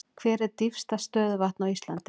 Hvert er dýpsta stöðuvatn á Íslandi?